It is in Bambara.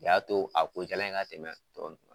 O y'a to a ko